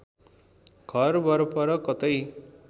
घर वरपर कतै